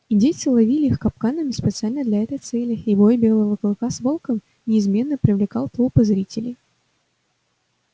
индейцы ловили их капканами специально для этой цели и бой белого клыка с волком неизменно привлекал толпы зрителей